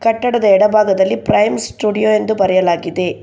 ಕಟ್ಟಡದ ಎಡಭಾಗದಲ್ಲಿ Prime Studio ಎಂದು ಬರೆಯಲಾಗಿದೆ.